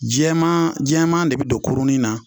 Jɛman jɛman de bɛ don kurunin na